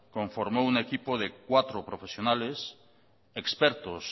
conformó un equipo de cuatro profesionales expertos